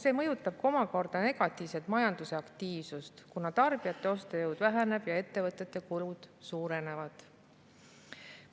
See mõjutab omakorda negatiivselt majanduse aktiivsust, kuna tarbijate ostujõud väheneb ja ettevõtete kulud suurenevad.